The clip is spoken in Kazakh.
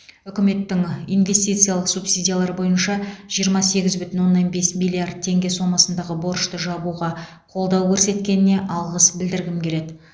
үкіметтің инвестициялық субсидиялар бойынша жиырма сегіз бүтін оннан бес миллиард теңге сомасындағы борышты жабуға қолдау көрсеткеніне алғыс білдіргім келеді